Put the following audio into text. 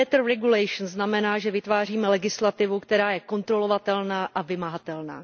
better regulation znamená, že vytváříme legislativu, která je kontrolovatelná a vymahatelná.